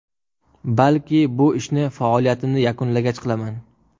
Balki bu ishni faoliyatimni yakunlagach qilaman.